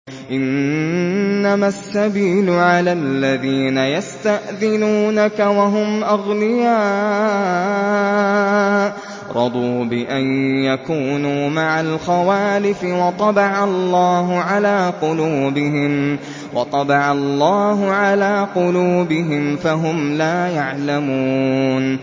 ۞ إِنَّمَا السَّبِيلُ عَلَى الَّذِينَ يَسْتَأْذِنُونَكَ وَهُمْ أَغْنِيَاءُ ۚ رَضُوا بِأَن يَكُونُوا مَعَ الْخَوَالِفِ وَطَبَعَ اللَّهُ عَلَىٰ قُلُوبِهِمْ فَهُمْ لَا يَعْلَمُونَ